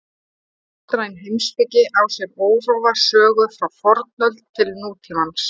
Vestræn heimspeki á sér órofa sögu frá fornöld til nútímans.